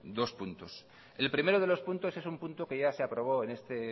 dos puntos el primero de los puntos es un punto que ya se aprobó en este